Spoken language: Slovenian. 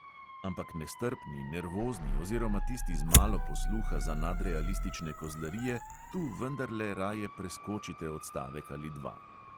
(ampak nestrpni, nervozni oziroma tisti z malo posluha za nadrealistične kozlarije tu vendarle raje preskočite odstavek ali dva.)